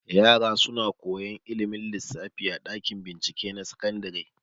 Yara suna koyan ilimin lissafi a ɗakin bincike na sakandare.